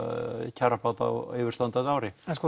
kjarabóta á yfirstandandi ári